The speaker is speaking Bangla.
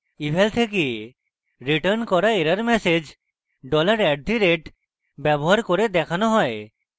eval থেকে রিটার্ন করা error message $@dollar at the rate ব্যবহার করে দেখানো হয়